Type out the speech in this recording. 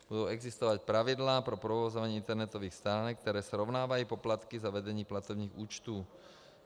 Budou existovat pravidla pro provozování internetových stránek, které srovnávají poplatky za vedení platebních účtů.